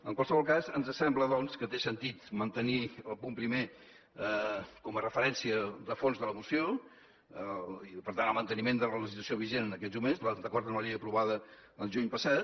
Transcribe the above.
en qualsevol cas ens sembla doncs que té sentit mantenir el punt primer com a referència de fons de la moció i per tant el manteniment de la legislació vigent en aquests moments d’acord amb la llei aprovada el juny passat